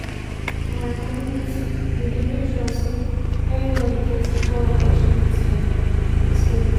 for my community we dey make sure sey everybodi get equal opportunity opportunity and respect.